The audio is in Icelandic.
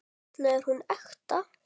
Varla er hún ekta.